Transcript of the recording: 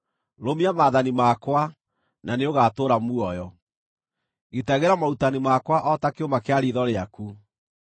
Rũmia maathani makwa, na nĩũgatũũra muoyo; gitagĩra morutani makwa o ta kĩũma kĩa riitho rĩaku.